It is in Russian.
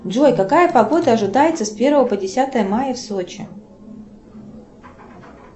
джой какая погода ожидается с первого по десятое мая в сочи